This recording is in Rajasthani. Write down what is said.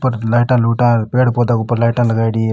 ऊपर लाइटा लुटा पेड़ पौधा ऊपर लाइटा लगाई डी है।